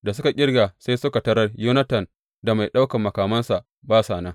Da suka ƙirga sai suka tarar Yonatan da mai ɗaukan makamansa ba sa nan.